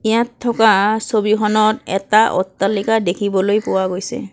ইয়াত থকা ছবিখনত এটা অট্টালিকা দেখিবলৈ পোৱা গৈছে।